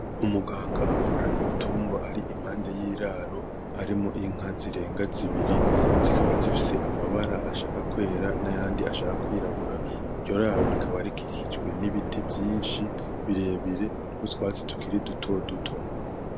Umuganga avura ibitungwa ari impande yiraro, harimwo inka zirenga zibiri zikaba zifise amabara ashaka kwera nayandi ashaka kwirabura iryo raro rikaba rikikijwe n'ibiti vyishi birebire n'utwatsi tukiri duto duto.